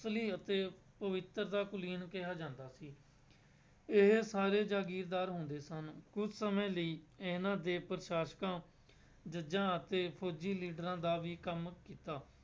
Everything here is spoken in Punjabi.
ਅਸਲੀ ਅਤੇ ਪਵਿੱਤਰ ਦਾ ਕੁਲੀਨ ਕਿਹਾ ਜਾਂਦਾ ਸੀ, ਇਹ ਸਾਰੇ ਜਾਗੀਰਦਾਰ ਹੁੰਦੇ ਸਨ, ਕੁੱਝ ਸਮੇਂ ਲਈ ਇਹਨਾਂ ਦੇ ਪ੍ਰਸਾਸਕਾਂ ਜੱਜਾਂ ਅਤੇ ਫ਼ੋਜ਼ੀ ਲੀਡਰਾਂ ਦਾ ਵੀ ਕੰਮ ਕੀਤਾ।